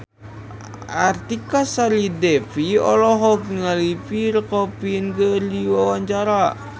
Artika Sari Devi olohok ningali Pierre Coffin keur diwawancara